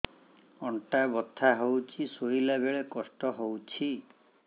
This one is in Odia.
ଅଣ୍ଟା ବଥା ହଉଛି ଶୋଇଲା ବେଳେ କଷ୍ଟ ହଉଛି